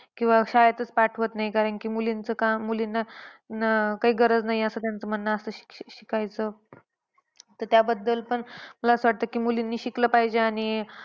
किंवा शाळेतच पाठवत नाही कारण की मुलींचं काम, मुलींना काय गरज नाही आहे असं त्यांचे म्हणणे असतं. शिक शिक शिकायचं. तर त्याबद्दल पण मला असं वाटतं की मुलींनी शिकलं पाहिजे. आणि